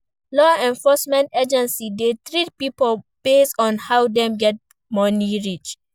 Law enforcement agency de treat pipo based on how dem get money reach